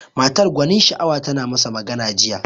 Matar gwanin sha'awa tana masa magana jiya.